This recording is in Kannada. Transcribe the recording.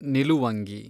ನಿಲುವಂಗಿ